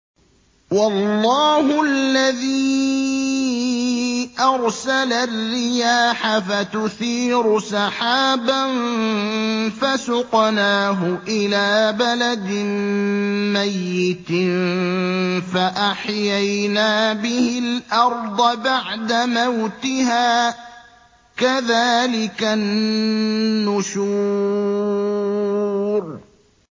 وَاللَّهُ الَّذِي أَرْسَلَ الرِّيَاحَ فَتُثِيرُ سَحَابًا فَسُقْنَاهُ إِلَىٰ بَلَدٍ مَّيِّتٍ فَأَحْيَيْنَا بِهِ الْأَرْضَ بَعْدَ مَوْتِهَا ۚ كَذَٰلِكَ النُّشُورُ